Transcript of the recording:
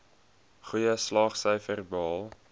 goeie slaagsyfers behaal